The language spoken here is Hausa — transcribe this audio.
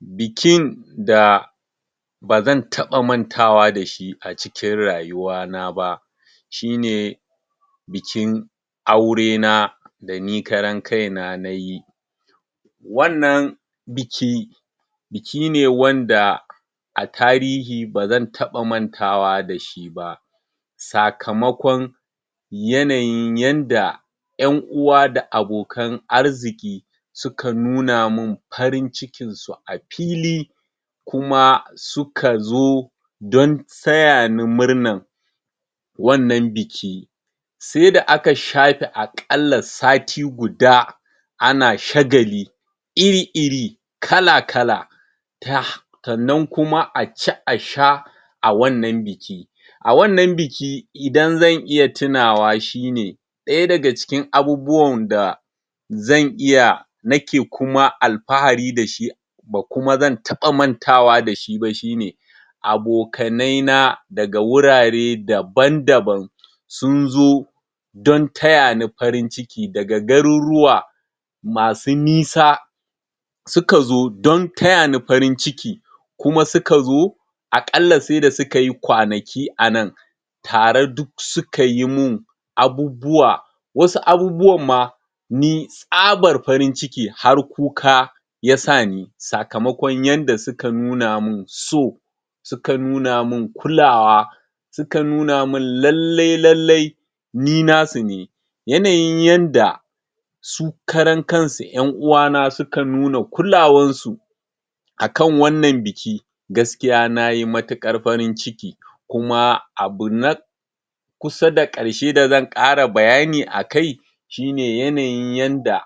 bikin da bazan taɓa mantawa dashi a cikin rayuwa na ba shine bikin aurena dani karan kaina nayi wannan biki bikine wanda a tarihi bazan taɓa mantawa dashi ba sakamakon yanayin yanda ƴan uwa da abokan arziƙi suka nunamin farin cikin su a fili kuma sukazo don tayani murnan wannan biki saida aka shafe aƙalla sati guda ana shagali iri-iri kala kala ta sannan kuma a ci a sha a wannan biki a wannan biki idan zan iya tunawa shine ɗaya daga cikin abubuwan da zan iya nake kuma alfahari da shi ba kuma zan taɓa mantawa dashi ba shine abokanai na da wurare daban-daban sunzo don tayani farin ciki daga garuruwa masu nisa sukazo dontayani farin ciki kuma sukazo a ƙalla saida sukayi kwanaki a nan tare duk suka yimin abubuwa wasu abubuwan ma ni tsabar farin ciki har kuka yasa ni sakamakon yanda suka nuna min so suka nunamin kulawa suka nunamin lallai lallai ni nasu ne yanayin yanda su karan kansu ƴan uwana suka nuna kulawan su akan wannan biki gaskiya nayi matuƙar farin ciki kuma abu na kusa da ƙarshe dazan ƙara bayani akai shine yanayin yanda